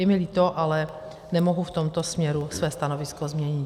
Je mi líto, ale nemohu v tomto směru své stanovisko změnit.